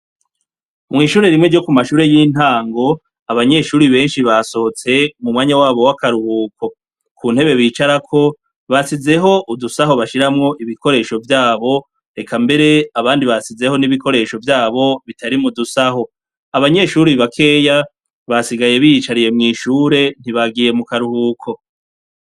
Mw' ishure rimwe ryo ku mashure y' intang' abanyeshure benshi basohotse mu mwanya wabo wakaruhuko, ku ntebe bicarako basizeh' udusaho bashiramw' ibikoresho vyabo, eka mber' abandi basizeho n' ibikiresho vyabo bitari mudusaho, abanyeshure bakeya basigaye biyicariye mwishure ntibagiye mu karuhuko.